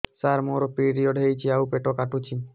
ସାର ମୋର ପିରିଅଡ଼ ହେଇଚି ଆଉ ପେଟ କାଟୁଛି